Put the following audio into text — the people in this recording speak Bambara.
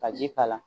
Ka ji k'a la